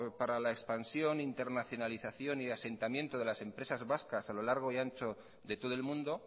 para la expansión internacionalización y asentamiento de las empresas vascas a lo largo y ancho de todo el mundo